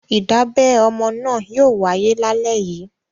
Ìdábẹ ọmọ náà yóò wáyé lálẹ́ yìí.